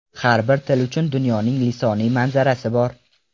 Har bir til uchun dunyoning lisoniy manzarasi bor.